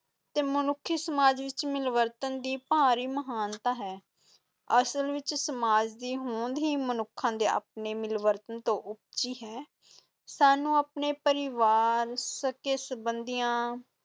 ਤੇ ਮਨੁੱਖੀ ਸਮਾਜ ਵਿੱਚ ਮਿਲਵਰਤਨ ਦੀ ਭਾਰੀ ਮਹਾਨਤਾ ਹੈ ਅਸਲ ਵਿਚ ਸਮਾਜ ਦੀ ਹੋਂਦ ਹੀ ਮਨੁੱਖਾਂ ਦੇ ਆਪਣੇ ਮਿਲਵਰਤਨ ਤੋਂ ਉਪਜੀ ਹੈ ਸਾਨੂੰ ਆਪਣੇ ਪਰਿਵਾਰ, ਸਕੇ ਸੰਬੰਧੀਆਂ